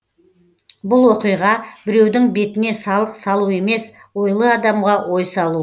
бұл оқиға біреудің бетіне салық салу емес ойлы адамға ой салу